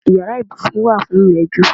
Ìyára ibùsùn wà fún ìrẹ̀jú.